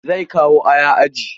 Zai kawo aya aji.